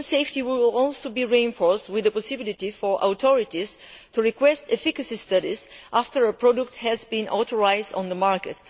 Patient safety will also be reinforced, with the possibility for authorities to request efficacy studies after a product has been authorised on the market.